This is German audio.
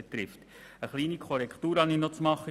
Ich habe noch eine kleine Korrektur zu machen.